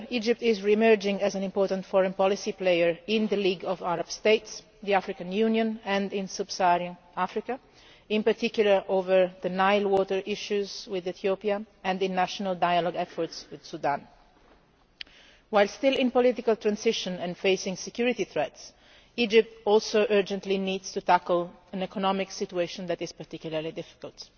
Furthermore, Egypt is re emerging as an important foreign policy player in the League of Arab States, in the African Union and in Sub Saharan Africa, in particular over the Nile water issues with Ethiopia and in national dialogue efforts with Sudan. While still in political transition and facing security threats, Egypt also urgently needs to tackle an economic situation that is particularly difficult.